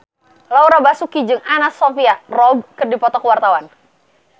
Laura Basuki jeung Anna Sophia Robb keur dipoto ku wartawan